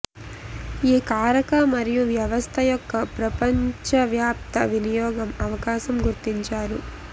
ఈ కారక మరియు వ్యవస్థ యొక్క ప్రపంచవ్యాప్త వినియోగం అవకాశం గుర్తించారు